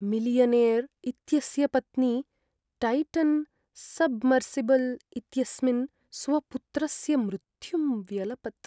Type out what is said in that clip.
Millionaire इत्यस्य पत्नी Titan submersible इत्यस्मिन् स्वपुत्रस्य मृत्युं व्यलपत्।